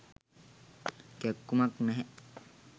කැක්කුමක් නැහැ.